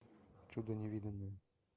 чудо невиданное